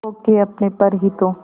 खो के अपने पर ही तो